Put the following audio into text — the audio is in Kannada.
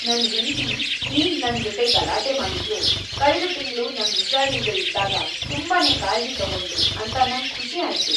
ನನ್ ಹೆಂಡ್ತಿ ಈಗ ನನ್ ಜೊತೆ ಗಲಾಟೆ ಮಾಡಿದ್ರೂ ಕಳ್ದ ತಿಂಗ್ಳು ನಂಗ್ ಉಷಾರಿಲ್ದೆ ಇದ್ದಾಗ ತುಂಬಾನೇ ಕಾಳ್ಜಿ ತಗೊಂಡ್ಳು ಅಂತ ನಂಗ್ ಖುಷಿ ಆಯ್ತು.